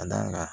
Ka d'a kan